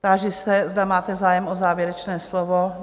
Táži se, zda máte zájem o závěrečné slovo?